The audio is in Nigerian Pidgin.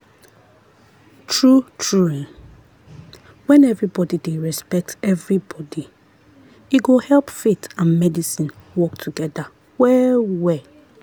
true-true when everybody dey respect everybody e go help faith and medicine work together well-well.